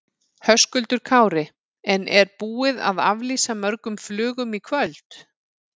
Höskuldur Kári: En er búið að aflýsa mörgum flugum í kvöld?